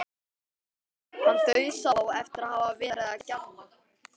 Hann dauðsá eftir að hafa verið að gjamma.